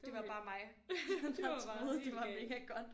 Det var bare mig der troede det var mega godt